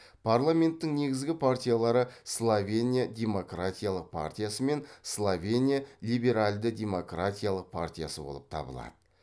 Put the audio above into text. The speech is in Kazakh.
парламенттің негізгі партиялары словения демократиялық партиясы мен словения либеральді демократиялық партиясы болып табылады